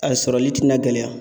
A sɔrɔli ti na gɛlɛya